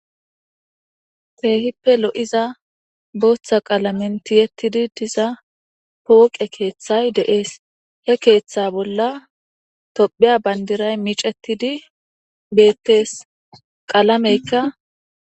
feehippe lo7iza booththa qaalamentiyettidi diza pooqe keeththay deees he keeththa bolla tophiya bandiray micetidi beettees qalameykka